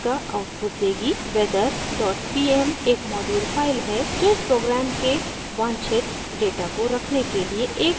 weather dot pm एक module file है जो इस प्रोग्राम के वांछित डेटा को रखने के लिए एक जटिल डेटा स्ट्रक्चर रखती है